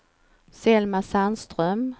Selma Sandström